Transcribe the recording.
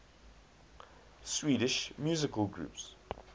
swedish musical groups